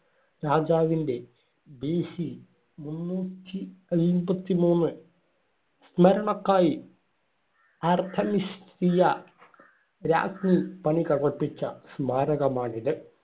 രാജാവിന്‍റെ BC മുന്നൂറ്റി അയ്‌മ്പത്തി മൂന്ന് സ്മരണയ്ക്കായി ആർതെമിസിയാ രാജ്ഞി പണികഴിപ്പിച്ച സ്മാരകമാണിത്.